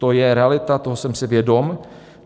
To je realita, toho jsem si vědom.